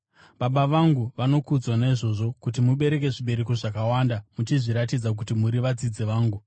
Baba vangu vanokudzwa naizvozvo kuti mubereke zvibereko zvakawanda, muchizviratidza kuti muri vadzidzi vangu.